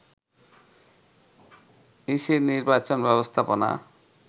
ইসির নির্বাচন ব্যবস্থাপনা